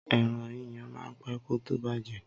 Ẹran yíyan máa pé kó tó bàjẹ́.